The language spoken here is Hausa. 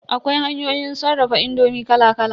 Akwai hanyoyin sarrafa indomi kala kala.